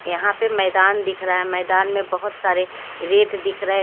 यहाँ पे मैदान दिख रहा है मैदान में बहुत सारे रेत दिख रह--